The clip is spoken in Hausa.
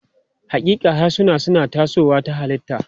Haƙiƙa, harsuna suna tasowa ta halitta.